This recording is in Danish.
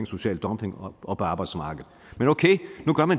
social dumping og arbejdsmarkedet